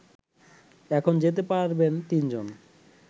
এখন যেতে পারবেন তিনজন